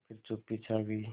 फिर चुप्पी छा गई